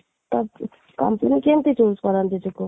company କେମିତି choose କରନ୍ତି